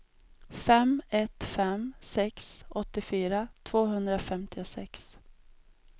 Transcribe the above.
fem ett fem sex åttiofyra tvåhundrafemtiosex